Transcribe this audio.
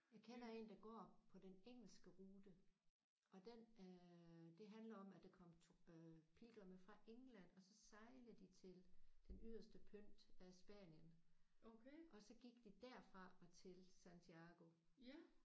Jeg kender en der går på den engelske rute og den øh det handler om at der kom øh pilgrimme fra England og så sejlede de til den yderste pynt af Spanien og så gik de derfra og til Santiago